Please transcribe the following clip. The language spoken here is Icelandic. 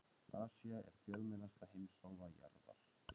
Asía er fjölmennasta heimsálfa jarðar.